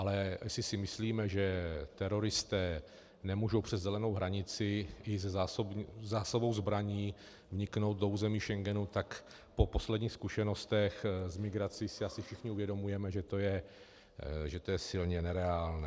Ale jestli si myslíme, že teroristé nemohou přes zelenou hranici i se zásobou zbraní vniknout do území Schengenu, tak po posledních zkušenostech s migrací si asi všichni uvědomujeme, že to je silně nereálné.